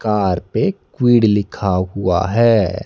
Car पे Kwid लिखा हुआ है।